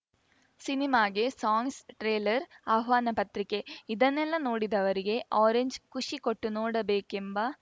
ಸಿನಿಮಾಗೆ songs trailer ಆಹ್ವಾನ ಪತ್ರಿಕೆ ಇದನ್ನೆಲ್ಲ ನೋಡಿದವರಿಗೆ ಆರೆಂಜ್‌ ಖುಷಿ ಕೊಟ್ಟು ನೋಡಬೇಕೆಂಬ